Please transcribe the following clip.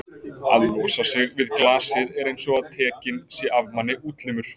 að losa sig við glasið er einsog að tekinn sé af manni útlimur.